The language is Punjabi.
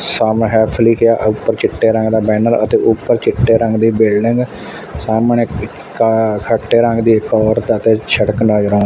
ਸੇਲ੍ਫ਼ ਹੇਲਪ ਲਿੱਖਿਆ ਤੇ ਊਪਰ ਚਿੱਟੇ ਰੰਗ ਦਾ ਬੈਨਰ ਅਤੇ ਊਪਰ ਚਿੱਟੇ ਰੰਗ ਦੀ ਬਿਲਡਿੰਗ ਸਾਹਮਣੇ ਇੱਕ ਖੱਟੇ ਰੰਗ ਦੀ ਇੱਕ ਹੋਰ ਤੇ ਅਤੇ ਜੇਹੜਾ--